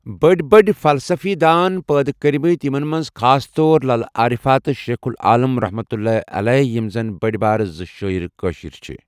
بٔڑۍ بٔڑۍ فلسفی دان پٲدٕ کٔرمٕتۍ یِمن منٛز خاص طور للٕہ عٲرفا تہٕ شیخُ العالم رحمتُ اللٰہِ علیٰ یِم زَن بٔڑۍ بارٕ زٕ شٲیِر کٲشِر چھِ